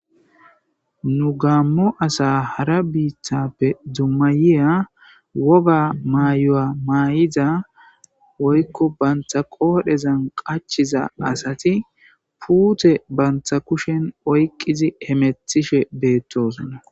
nu gaammo asa hara biitappe dummatiya woga maayo7a maay7iza woykko bantha qoodhezan qachiza asati puute bantha kushen oyqizi hemethishe beettosnna